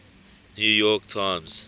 new york times